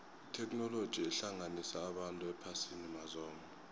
itheknoloji ihlanganisa abantu ephasini mazombe